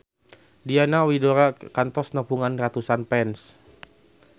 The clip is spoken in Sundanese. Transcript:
Diana Widoera kantos nepungan ratusan fans